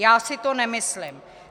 Já si to nemyslím.